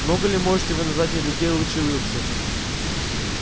много ли можете вы назвать мне людей лучше уилксов